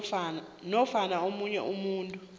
nofana omunye umuntu